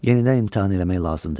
Yenidən imtahan eləmək lazımdır.